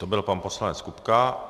To byl pan poslanec Kupka.